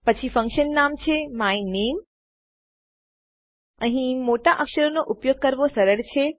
પછી ફંક્શન નામ જે છે માયનામે અહીં મોટા અક્ષરનો ઉપયોગ કરવો સરળ છે